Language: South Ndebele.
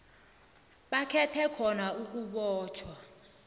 bakhethe khona ukubotjhwa